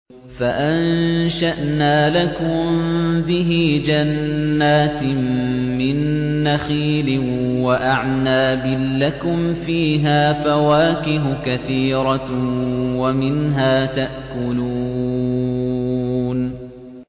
فَأَنشَأْنَا لَكُم بِهِ جَنَّاتٍ مِّن نَّخِيلٍ وَأَعْنَابٍ لَّكُمْ فِيهَا فَوَاكِهُ كَثِيرَةٌ وَمِنْهَا تَأْكُلُونَ